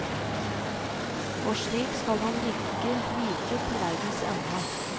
Og slik skal han ligge like til verdens ende.